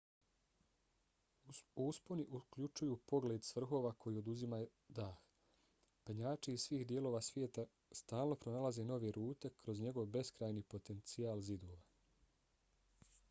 usponi uključuju pogled s vrhova koji oduzima dah. penjači iz svih dijelova svijeta stalno pronalaze nove rute kroz njegov beskrajni potencijal zidova